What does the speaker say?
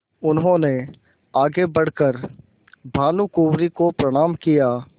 उन्होंने आगे बढ़ कर भानुकुँवरि को प्रणाम किया